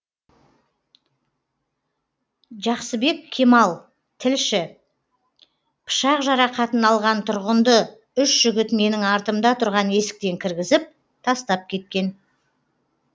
жақсыбек кемал тілші пышақ жарақатын алған тұрғынды үш жігіт менің артымда тұрған есіктен кіргізіп тастап кеткен